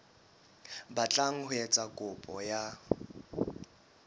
batlang ho etsa kopo ya